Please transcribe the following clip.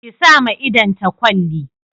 Ki sa ma idon ta kwalli